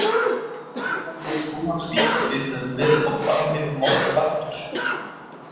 Hver hefði trúað því að við höfum verið á barmi morðfaraldurs?